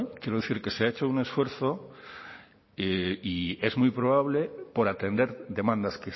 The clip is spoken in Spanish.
quiero decir que se ha hecho un esfuerzo y es muy probable por atender demandas